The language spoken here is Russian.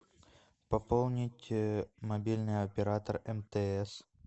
пополнить мобильный оператор мтс